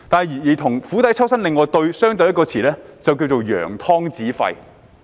而與"釜底抽薪"相對的另一個成語，就是"揚湯止沸"。